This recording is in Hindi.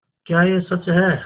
क्या यह सच है